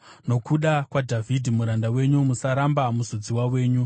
Nokuda kwaDhavhidhi muranda wenyu, musaramba muzodziwa wenyu.